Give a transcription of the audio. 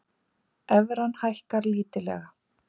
Evran hækkar lítillega